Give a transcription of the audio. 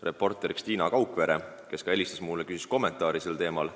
Reporter Tiina Kaukvere helistas mulle ja küsis kommentaari sellel teemal.